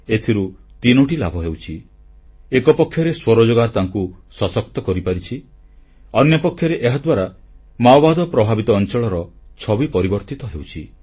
ଏଥିରୁ ତିନୋଟି ଲାଭ ହେଉଛି ଏକପକ୍ଷରେ ସ୍ୱରୋଜଗାର ତାଙ୍କୁ ସଶକ୍ତ କରିପାରିଛି ଅନ୍ୟପକ୍ଷରେ ଏହାଦ୍ୱାରା ମାଓବାଦ ପ୍ରଭାବିତ ଅଂଚଳର ଛବିରେ ପରିବର୍ତ୍ତନ ହେଉଛି